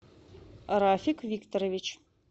рафик викторович